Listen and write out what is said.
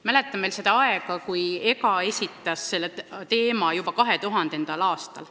Mäletan, et EGGA esitas selle teema juba 2000. aastal.